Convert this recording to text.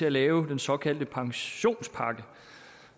at lave den såkaldte pensionspakke